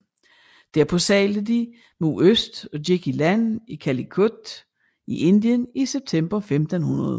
Derpå sejlede de mod øst og gik i land i Calicut i Indien i september 1500